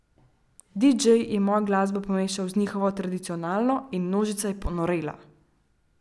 Didžej je mojo glasbo pomešal z njihovo tradicionalno in množica je ponorela!